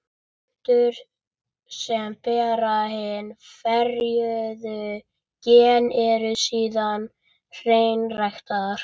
Plöntur sem bera hin ferjuðu gen eru síðan hreinræktaðar.